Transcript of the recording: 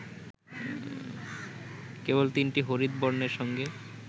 কেবল তিনটি হরিৎ বর্ণের সঙ্গে